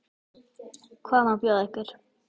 Hvað má bjóða ykkur?